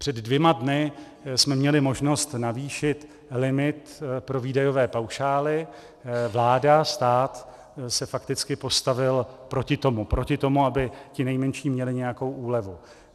Před dvěma dny jsme měli možnost navýšit limit pro výdajové paušály, vláda, stát se fakticky postavil proti tomu, aby ti nejmenší měli nějakou úlevu.